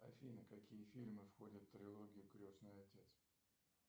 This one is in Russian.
афина какие фильмы входят в трилогию крестный отец